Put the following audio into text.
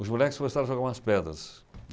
os moleques começaram a jogar umas pedras.